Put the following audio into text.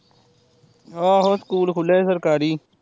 ਆਹੋ ਸਕੂਲ ਖੁੱਲਿਆ ਸੀ ਸਰਕਾਰੀ